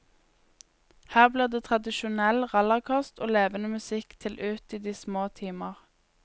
Her blir det tradisjonell rallarkost og levende musikk til ut i de små timer.